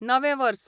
नवें वर्स